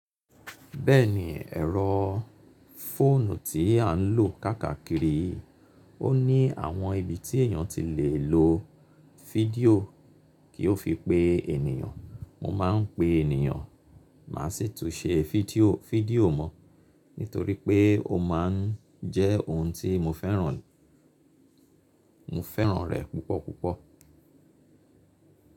Bẹ́ẹ̀ni ẹ̀rọ fóònù tí à ń lò kàakàkíri yii, ó ní àwọn ibi tí èeyàn ti lè lo fídíò kí ó fi pe ènìyàn. Mo máa ń pe ènìyàn, màá sì tún ṣe fídíò mọ́, nítorí pé ó máa ń jẹ́ ohun tí mo fẹ́ràn rẹ̀ púpọ̀ púpọ̀.